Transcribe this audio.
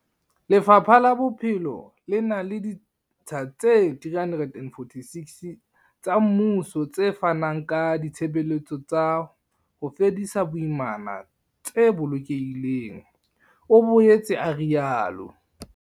Lefapha la Bophelo le na le ditsha tse 346 tsa mmuso tse fanang ka ditshebeletso tsa ho fedisa boimana tse bolokehileng, o boetse a rialo.